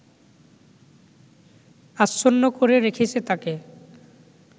আচ্ছন্ন করে রেখেছে তাকে